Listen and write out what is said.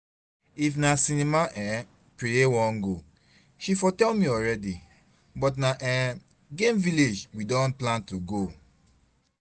If na cinema um Preye wan go she for tell me already, but na um game village we don plan to go